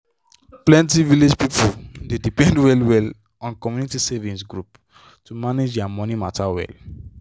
plenty village people dey depend well well on community savings group to manage their money matter well.